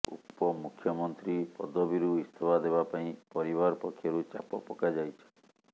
ଉପମୁଖ୍ୟମନ୍ତ୍ରୀ ପଦବୀରୁ ଇସ୍ତଫା ଦେବା ପାଇଁ ପରିବାର ପକ୍ଷରୁ ଚାପ ପକାଯାଇଛି